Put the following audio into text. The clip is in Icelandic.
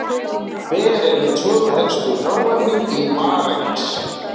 Hver eru tvö helstu hráefni í marengs?